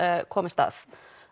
komist að